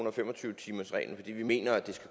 og fem og tyve timersreglen fordi vi mener at